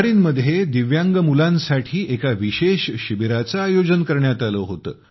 Bahrain मध्ये दिव्यांग मुलांसाठी एका विशेष शिबिराचे आयोजन करण्यात आले होते